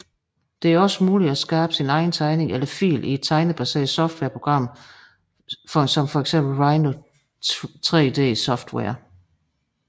Det er også muligt at skabe sin egen tegning eller fil i et tegnebaseret software program såsom Rhino3D software